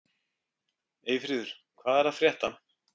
Eyfríður, hvað er að frétta?